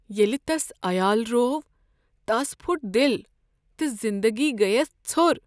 ییٚلہ تس عیال روو، تس پھٹ دل تہٕ زندگی گٔیس ژھٔر۔